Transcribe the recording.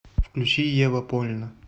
включи ева польна